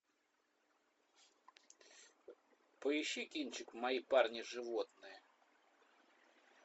поищи кинчик мои парни животные